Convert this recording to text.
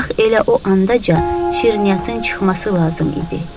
Bax elə o andaca şirniyyatın çıxması lazım idi.